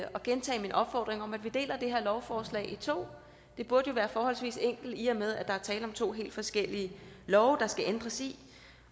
gentage min opfordring om at vi deler det her lovforslag i to det burde jo være forholdsvis enkelt i og med at der er tale om to helt forskellige love der skal ændres i